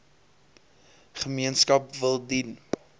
gemeenskap wil dien